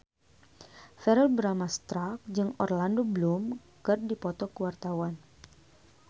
Verrell Bramastra jeung Orlando Bloom keur dipoto ku wartawan